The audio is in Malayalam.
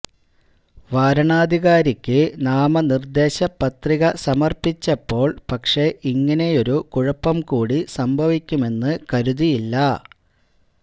വാരണാധികാരിക്ക് നാമനിർദ്ദേശ പത്രിക സമർപ്പിച്ചപ്പോൾ പക്ഷെ ഇങ്ങിനെയൊരു കുഴപ്പം കൂടി സംഭവിക്കുമെന്ന് കരുതിയില്ല